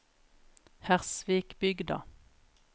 Hersvikbygda